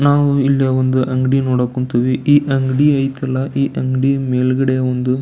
ನಾವು ಇಲ್ಲಿ ಒಂದು ಅಂಗಡಿ ನೋಡಕುಂತಿವಿ ಈ ಅಂಗಡಿ ಆಯತ್ತಲ್ಲಾ ಈ ಅಂಗಡಿ ಮೇಲಗಡೆ ಒಂದು --